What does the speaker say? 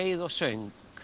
og söng